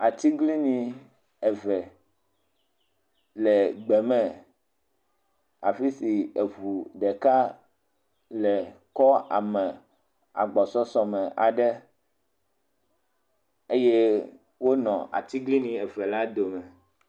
Atiglinyi eve le gbe me, afi si eŋu ɖeka le kɔ ame agbɔsɔsɔ me aɖe eye wonɔ atiglinyi eve la dome.